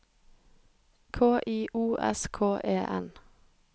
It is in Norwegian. K I O S K E N